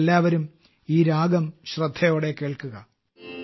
ഇനി എല്ലാവരും ഈ രാഗം ശ്രദ്ധയോടെ കേൾക്കുക